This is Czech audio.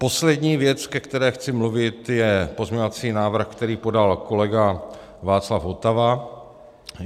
Poslední věc, ke které chci mluvit, je pozměňovací návrh, který podal kolega Václav Votava.